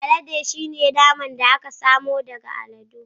Alade shine naman da aka samo daga aladu.